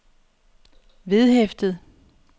vedhæftet